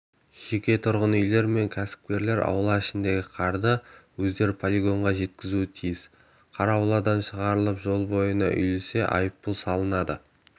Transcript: жеке тұрғын үйлер мен кәсіпкерлер аула ішіндегі қарды өздері полигонға жеткізуі тиіс қар ауладан шығарылып жол бойына үйілсе айыппұл салынады